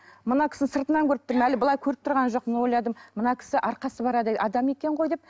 мына кісіні сыртынан көріп тұрмын әлі былай көріп тұрған жоқпын ойладым мына кісі арқасы бар адам екен ғой деп